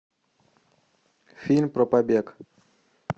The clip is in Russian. фильм про побег